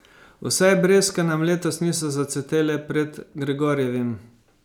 Vsaj breskve nam letos niso zacvetele pred Gregorjevim.